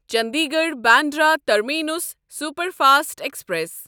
Chandigarh Bandra terminus superfast express